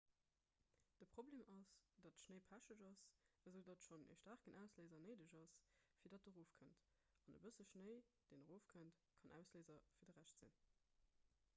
de problem ass datt schnéi pecheg ass esoudatt schonn e staarken ausléiser néideg ass fir datt en erof kënnt an e bësse schnéi deen erofkënnt kann ausléiser fir de rescht sinn